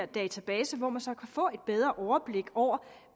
database hvor man så kan få et bedre overblik over